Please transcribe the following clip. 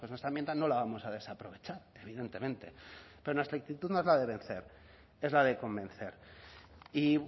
que nuestra enmienda no la vamos a desaprovechar evidentemente pero nuestra actitud no es la de vencer es la de convencer y